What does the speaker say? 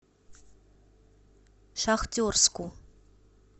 шахтерску